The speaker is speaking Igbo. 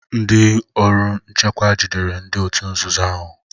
Ndị ọrụ nchekwa jidere ndị òtù nzuzo ahụ